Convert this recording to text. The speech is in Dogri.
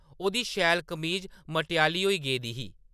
ओह्‌‌‌दी शैल कमीज मटेआली होई गेई दी ही ।